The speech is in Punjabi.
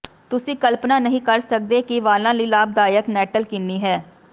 ਤੁਸੀਂ ਕਲਪਨਾ ਨਹੀਂ ਕਰ ਸਕਦੇ ਕਿ ਵਾਲਾਂ ਲਈ ਲਾਭਦਾਇਕ ਨੈੱਟਲ ਕਿੰਨੀ ਹੈ